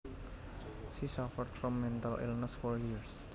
She suffered from mental illness for years